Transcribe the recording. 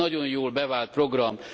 Ez egy nagyon jól bevált program.